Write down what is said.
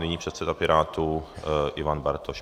Nyní předseda Pirátů Ivan Bartoš.